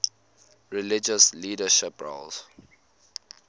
religious leadership roles